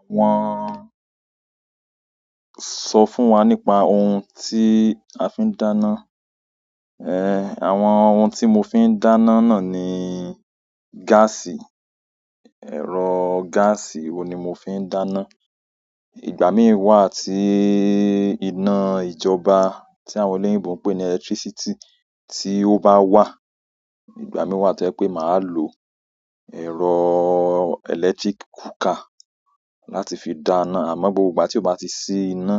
Àwọn sọ fún wa nípa ohun tí a fi ń dáná, ẹh àwọn ohun tí mo fi ń dáná náà ni gáàsì, ẹ̀rọ gáàsì wo ni mo fi ń dáná. Ìgbà mí wà tí iná ìjọba tí àwọn olóyìnbo ń pè ní electricity tí ó bá wà, ìgbà mí wà to je pé máa lo ẹ̀rọ electric cooker láti fi dáná. Àmọ́ gbogbo ìgbà tí ó bá ti ṣí iná,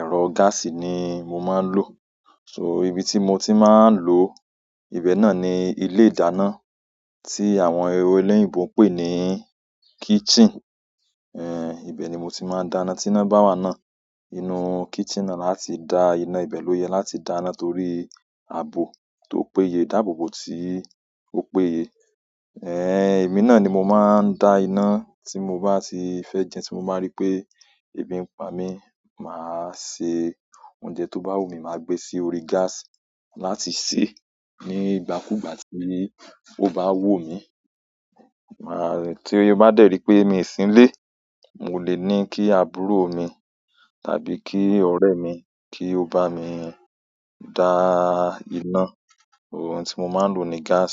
ẹ̀rọ gáàsì ni mo máa ń lò. So, ibi ti mo ti maa n lo ibe náà ni ile ìdáná ti àwọn oloyinbo n pe ni kitchen. Ẹn ibẹ̀ ni mo ti máa ń dáná tí iná bá wa náà. Inú kitchen náà láti dá iná, ìbé lò yẹ láti dáná torí àbò tó péye ìdáàbòbò tí ó péye. Ẹ́n èmi náà ni mo máa ń dá iná tí mo bá ti fẹ́ jẹun tí mo bá rí pé ebi ń pa mí, màá se oúnjẹ tó bá wù mí, màá gbé sí orí gas láti sè ní ìgbàkúgbà tí ó bá wù mí. Màá tí mo bá dẹ́ rì pé mi sì ń lé, mo lè ní kí àbúrò mi tàbí kí ọ̀rẹ́ mi kí ó bá mi dá iná. Ohun tí mo máa ń lò ni gas,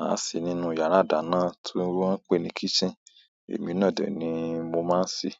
à sì ni ínú yàrá ìdáná tí wọ́n ń pè ní kitchen, èmi náà dẹ̀ ni mo máa ń sì.